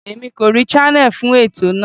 Èmi kò rí channel fún ètò náà.